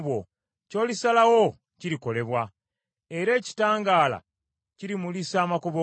Ky’olisalawo kirikolebwa, era ekitangaala kirimulisa amakubo go.